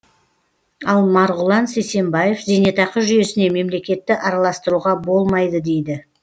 ал марғұлан сейсембаев зейнетақы жүйесіне мемлекетті араластыруға болмайды дейді